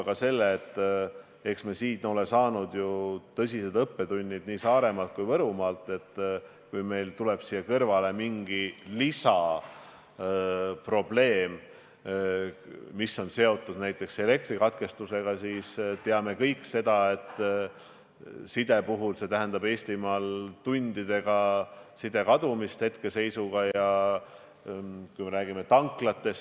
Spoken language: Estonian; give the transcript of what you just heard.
Kas me ei või olla ühel hetkel olukorras, kus meil ei ole enam võimalik elutähtsaid teenuseid tagada?